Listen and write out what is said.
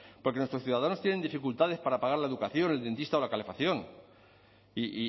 porque nuestros ciudadanos tienen dificultades para pagar la educación el dentista o la calefacción y